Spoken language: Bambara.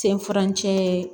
Sen farancɛ